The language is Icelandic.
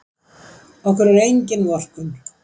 Okkur er engin vorkunn.